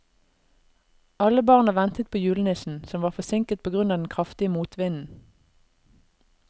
Alle barna ventet på julenissen, som var forsinket på grunn av den kraftige motvinden.